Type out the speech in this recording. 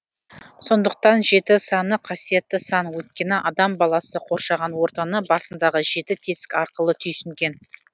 сондықтан жеті саны қасиетті сан өйткені адам баласы қоршаған ортаны басындағы жеті тесік арқылы түйсінген